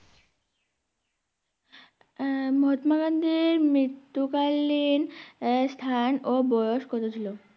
আহ মহাত্মা গান্ধীর মৃত্যু কালীন আহ স্থান ও বয়স কত ছিল?